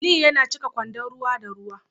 Aliyu yana cika kwandon ruwa da ruwa